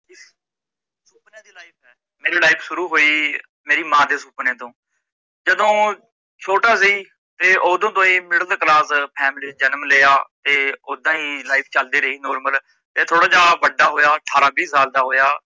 ਮੇਰੀ life ਸ਼ੁਰੂ ਹੋਈ, ਮੇਰੀ ਮਾਂ ਦੇ ਸੁਪਨੇ ਤੋਂ ਜਦੋਂ ਛੋਟਾ ਸੀ, ਤੇ ਉਦੋਂ ਤੋਂ ਹੀ middle class family ਜਨਮ ਲਿਆ, ਤੇ ਉਦਾ ਹੀ life ਚੱਲਦੀ ਰਹੀ normal ਫਿਰ ਥੋੜਾ ਜੇਹਾ ਬੱਡਾ ਹੋਇਆ ਅਠਾਰਾਂ ਵੀਹ ਸਾਲ ਦਾ ਹੋਇਆ